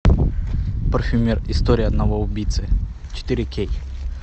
парфюмер история одного убийцы четыре кей